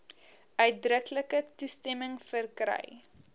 uitdruklike toestemming verkry